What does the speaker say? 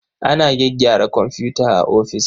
Ana gyaggyara komfuta a ofis.